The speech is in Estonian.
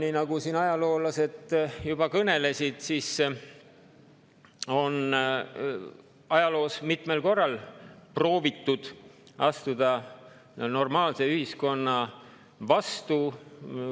Nii nagu siin ajaloolased juba kõnelesid, on ajaloos mitmel korral proovitud astuda normaalse ühiskonna vastu.